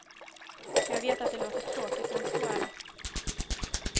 Jag vet att det låter tråkigt men så är det.